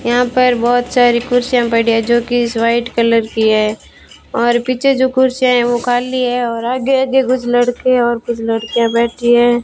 यहां पर बहोत सारी कुर्सियां पड़ी है जो कि इस वाइट कलर की है और पीछे जो कुर्सी है वह खाली है और आगे आगे कुछ लड़के और कुछ लड़कियां बैठी हैं।